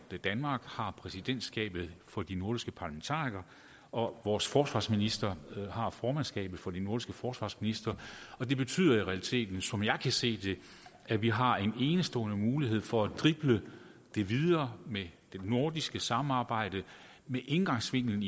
danmark har præsidentskabet for de nordiske parlamentarikere og vores forsvarsministre har formandskabet for de nordiske forsvarsministre det betyder i realiteten som jeg kan se det at vi har en enestående mulighed for at drible videre i det nordiske samarbejde indgangsvinklen